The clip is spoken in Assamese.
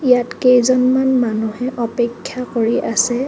ইয়াত কেইজনমান মানুহে অপেক্ষা কৰি আছে।